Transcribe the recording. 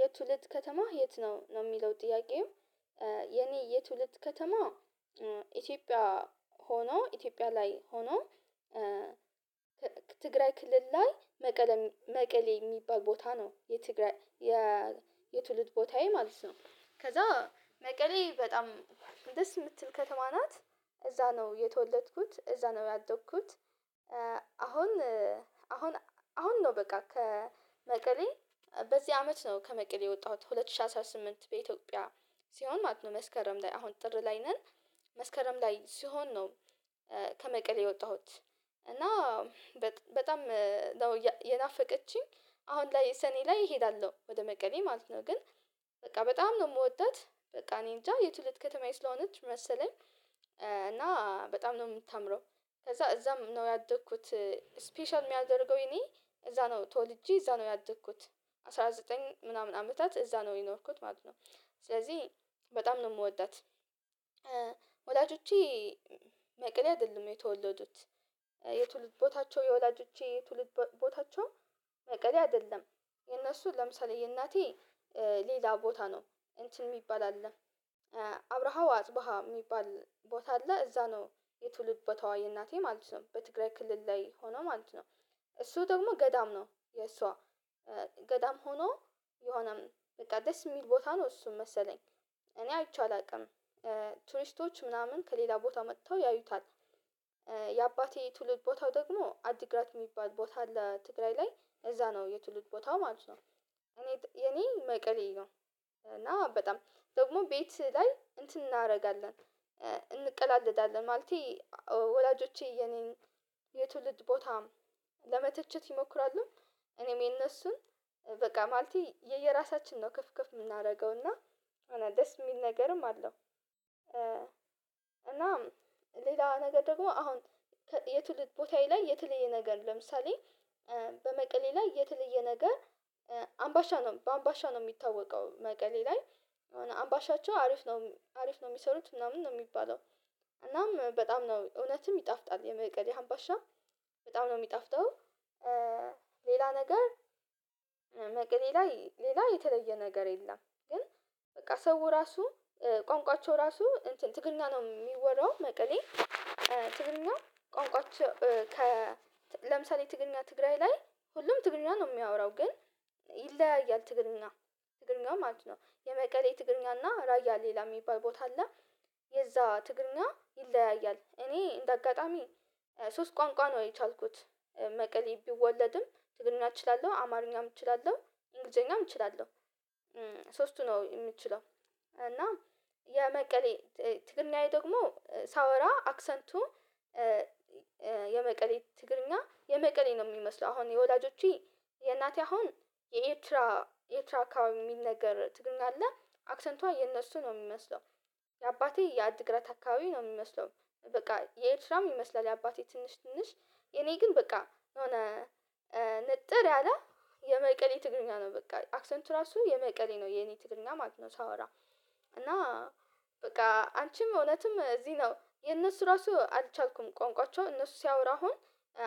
"የትውልድ ከተማህ የት ነው?" ነው የሚለው ጥያቄው። የኔ የትውልድ ከተማ ኢትዮጵያ ሆኖ ኢትዮጵያ ላይ ሆኖ ትግራይ ክልል ላይ መቀለ መቀሌ የሚባል ቦታ ነው የትግራይ የትውልድ ቦታዬ ማለት ነው። ከዛ መቀሌ በጣም ደስ የምትል ከተማ ናት። እዛ ነው የተወለድኩት። እዛ ነው ያደግኩት። አሁን አሁን አሁን ነው በቃ ከመቀሌ በዚህ አመት ነው ከመቀሌ የወጣሁት። ሁለት ሺህ አስራ ስምንት በኢትዮጵያ ሲሆን ማለት ነው መስከረም ላይ አሁን ጥር ላይ ነን መስከረም ላይ ሲሆን ነው ከመቀሌ የወጣሁት፤ እና በጥ በጣም ነው የናፈቀችኝ። አሁን ላይ ሰኔ ላይ እሄዳለሁ ወደ መቀሌ ማለት ነው፤ ግን በቃ በጣም ነው የምወዳት በቃ እኔእንጃ የትውልድ ከተማዬ ስለሆነች መሰለኝ፤ እና በጣም ነው የምታምረው ከዛ እዛም ነው ያደኩት ስፔሻል የሚያደርገው ይኔ እዛ ነው ተወልጄ እዛ ነው ያደኩት። አስራ ዘጠኝ ምናምን አመታት እዛ ነው የኖርኩት ማለት ነው። ስለዚህ በጣም ነው የምወዳት። ወላጆቼ መቅሌ አይደለም የተወለዱት። የትውልድ ቦታቸው የወላጆቼ የትውልድ ቦታቸው መቀሌ አይደለም። የነሱ ለምሳሌ የእናቴ ሌላ ቦታ ነው፤ እንትን የሚባል አለ አብረሃው አጽበሃ የሚባል ቦታ አለ እዛ ነው የትውልድ ቦታዋ የእናቴ ማለት ነው፤ በትግራይ ክልል ላይ ሆኖ ማለት ነው። እሱ ደግሞ ገዳም ነው፤ የእሷ ገዳም ሆኖ የሆነም በቃ ደስ የሚል ቦታ ነው እሱም መሰለኝ፤ እኔ አይቼው አላውቅም። ቱሪስቶች ምናምን ከሌላ ቦታ መጥተው ያዩታል። የአባቴ ትውልድ ቦታው ደግሞ አዲግራት የሚባል ቦታ አለ ትግራይ ላይ እዛ ነው የትውልድ ቦታው ማለት ነው። እኔ የኔ መቀሌ ነው፤ እና በጣም ደግሞ ቤት ላይ እንትን እናደርጋለን እንቀላለዳለን ማለቴ ወላጆቼ የኔን የትውልድ ቦታ ለመተቸት ይሞክራሉ፤ እኔም የነሱን። በቃ ማለቴ የየራሳችን ነው ክፍ ከፍ የምናደርገው እና የሆነ ደስ የሚል ነገርም አለው። ሌላ ነገር ደግሞ አሁን የትውልድ ቦታዬ ላይ የተለየ ነገር ለምሳሌ በመቀሌ ላይ የተለየ ነገር አምባሻ ነው በአምባሻ ነው የሚታወቀው መቀሌ ላይ የሆነ አምባሻቸው አሪፍ ነው አሪፍ ነው የሚሰሩት ምናምን ነው የሚባለው እናም በጣም ነው እውነትም ይጣፍጣል የመቀሌ አምባሻ በጣም ነው የሚጣፍተው። ሌላ ነገር መቀሌ ላይ ሌላ የተለየ ነገር የለም፤ ግን በቃ ሰው ራሱ ቋንቋቸው ራሱ እንትን ትግርኛ ነው የሚወራው መቀሌ ትግርኛ ቋንቋቸው ከ ለምሳሌ ትግርኛ ትግራይ ላይ ሁሉም ትግርኛ ነው የሚያወራው ግን ይለያያል ትግርኛ ትግርኛው ማለት ነው። የመቀሌ ትግርኛ እና ራያ ሌላ የሚባል ቦታ አለ የዛ ትግርኛ ይለያያል። እኔ እንደ አጋጣሚ ሶስት ቋንቋ ነው የቻልኩት። መቀሌ ብወለድም ትግርኛ እችላለሁ፣ አማርኛም እችላለሁ፣ እንግሊዘኛም እችላለሁ። ሶስቱ ነው የምችለው፤ እና የመቀሌ ትግርኛዬ ደግሞ ሳወራ አክሰንቱ የመቀሌ ትግርኛ የመቀሌ ነው የሚመስለው አሁን የወላጆቼ የእናቴ አሁን የኤርትራ ኤርትራ አካባቢ የሚነገር ትግርኛ አለ፤ አክሰንቷ የነሱ ነው የሚመስለው። የአባቴ የአዲግራት አካባቢ ነው የሚመስለው። በቃ የኤርትራም ይመስላል የአባቴ ትንሽ ትንሽ፤ የኔ ግን በቃ የሆነ ንጥር ያለ የመቀሌ ትግርኛ ነው በቃ አክሰንቱ ራሱ የመቀሌ ነው የኔ ትግርኛ ማለት ነው ሳወራ፤ እና በቃ አንቺም እውነትም እዚህ ነው የእነሱ ራሱ አልቻልኩም ቋንቋቸው እነሱ ሲያወራ አሁን